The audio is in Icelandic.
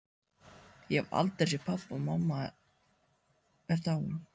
Ég hef aldrei séð pabba og mamma er dáin.